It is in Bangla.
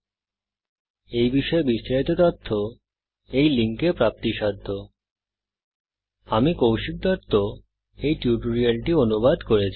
এই বিষয়ে বিস্তারিত তথ্য এই লিঙ্কে প্রাপ্তিসাধ্য spoken hyphen tutorial dot org slash ন্মেইক্ট হাইফেন ইন্ট্রো আমি কৌশিক দত্ত এই টিউটোরিয়ালটি অনুবাদ করেছি